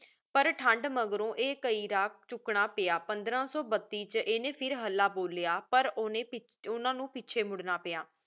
ਪਰ ਠੰਡ ਮਾਘ੍ਰੋ ਆਯ ਕਾਯੀ ਰਾਗ ਚੂਕਨਾ ਪਾਯਾ ਪੰਦ੍ਰ ਸੋ ਬਤੀਸ ਵਿਚ ਇਨੀ ਫਿਰ ਹਾਲਾ ਬੋਲਿਯਾ ਪਰ ਓਨੀ ਓਨਾ ਨੂ ਪੀਚੀ ਮੁਰਨਾ ਪਾਯਾ